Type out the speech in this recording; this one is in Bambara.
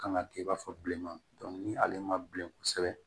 Kan ka kɛ i b'a fɔ bilenman ni ale ma bilen kosɛbɛ